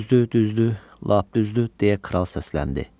Düzdür, düzdür, lap düzdür, deyə kral səsləndi.